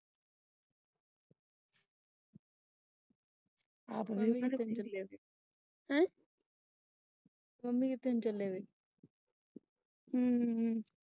Mummy ਕਿੱਤੇ ਨੂੰ ਚੱਲੇ ਵੇ ਅਹ ਮੇਲਾ ਵੇਖਣ ਚੱਲੇ ਨੇ।